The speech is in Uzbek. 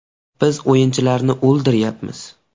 Biz o‘yinchilarni o‘ldiryapmiz.